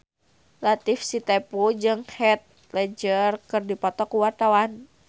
Latief Sitepu jeung Heath Ledger keur dipoto ku wartawan